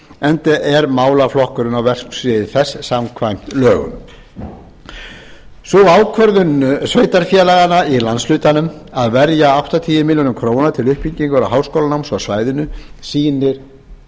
enda er málaflokkurinn á verksviði þess samkvæmt lögum sú ákvörðun sveitarfélaganna í landshlutanum að verja áttatíu milljónir króna til uppbyggingar háskólanáms á svæðinu sýnir